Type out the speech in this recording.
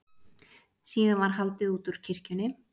Síðan var haldið útúr kirkjunni.